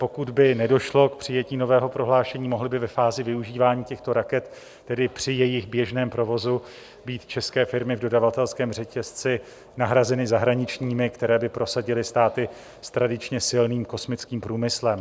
Pokud by nedošlo k přijetí nového prohlášení, mohly by ve fázi využívání těchto raket, tedy při jejich běžném provozu, být české firmy v dodavatelském řetězci nahrazeny zahraničními, které by prosadily státy s tradičně silným kosmickým průmyslem.